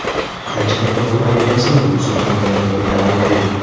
Qanchalik og‘ir bo‘lmasin, bu Surxondaryoga taalluqli.